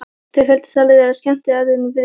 Þau felldu talið þegar skemmtiatriðin byrjuðu.